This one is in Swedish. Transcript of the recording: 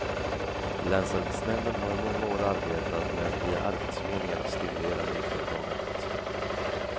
Länsarbetsnämnden har i många år arbetat med att via arbetsförmedlingarna stimulera nyföretagandet.